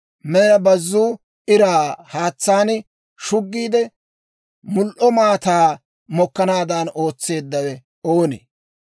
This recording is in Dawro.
Mela bazzuu iraa haatsaan shuggiide, l"o maataa mokkanaadan ootseeddawe oonee?